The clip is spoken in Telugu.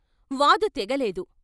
వాదు తెగ లేదు.